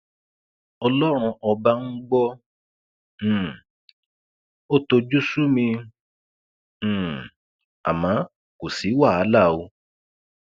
ọlọrun ọba ń gbọ um ọ tojú sú mi um àmọ kò sí wàhálà o